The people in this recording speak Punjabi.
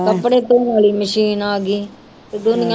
ਕੱਪੜੇ ਧੌਣ ਵਾਲੀ ਮਸ਼ੀਨ ਆ ਗਈ ਤੇ ਦੁਨੀਆਂ